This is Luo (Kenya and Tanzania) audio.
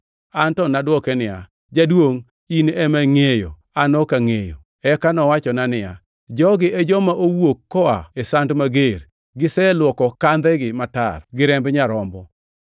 An to nadwoke niya, “Jaduongʼ in ema ingʼeyo, an ok angʼeyo.” Eka nowachona niya, “Jogi e joma owuok koa e sand mager; giselwoko kandhegi matar gi remb Nyarombo.